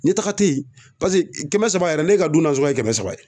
Ɲɛtaga te yen kɛmɛ saba yɛrɛ ne ka du nasɔngɔ ye kɛmɛ saba ye